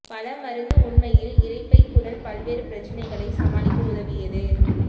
பல மருந்து உண்மையில் இரைப்பை குடல் பல்வேறு பிரச்சினைகளை சமாளிக்க உதவியது